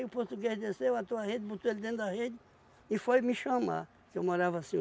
o português desceu, atou a rede, botou ele dentro da rede e foi me chamar, que eu morava assim.